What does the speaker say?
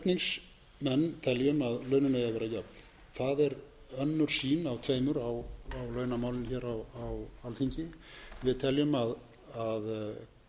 það er önnur sýn af tveimur á launamálum hér á alþingi við teljum að